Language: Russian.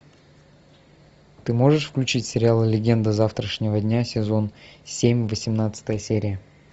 ты можешь включить сериал легенды завтрашнего дня сезон семь восемнадцатая серия